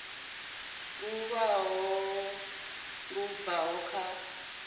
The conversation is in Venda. lu ṅwalo lu bvaho kha